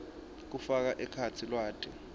kufaka ekhatsi lwati